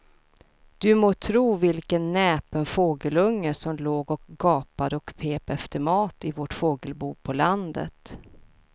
Du må tro vilken näpen fågelunge som låg och gapade och pep efter mat i vårt fågelbo på landet.